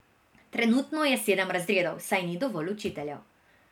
Trenutno je sedem razredov, saj ni dovolj učiteljev.